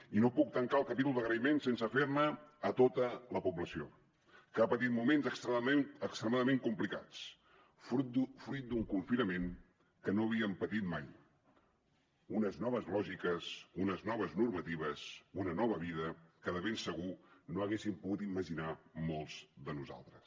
i no puc tancar el capítol d’agraïments sense fer ne a tota la població que ha patit moments extremadament complicats fruit d’un confinament que no havíem patit mai unes noves lògiques unes noves normatives una nova vida que de ben segur no haguéssim pogut imaginar molts de nosaltres